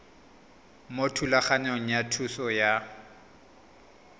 mo thulaganyong ya thuso y